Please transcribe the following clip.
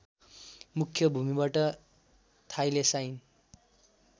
मुख्य भूमिबाट थाइलेसाइन